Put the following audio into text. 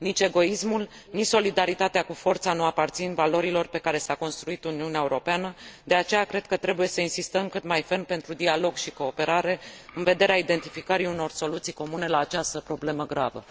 Nici egoismul, nici solidaritatea cu forța nu aparțin valorilor pe care s a construit Uniunea Europeană, de aceea cred că trebuie să insistăm cât mai ferm pentru dialog și cooperare, în vederea identificării unor soluții comune la această problemă gravă.